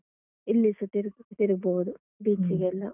ಇಲ್ಲಿಸ ತಿರುಗ್ ತಿರುಗ್ಬೋದು. beach ಗೆಲ್ಲ,